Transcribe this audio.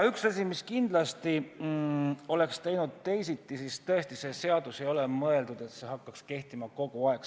Üks asi, mis oleks kindlasti olnud teisiti, on tõesti see, et seadus ei ole mõeldud sellisena, et see hakkaks kehtima kogu aeg.